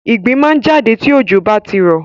Ìgbín máa ń jáde tí òjò bá ti rọ̀.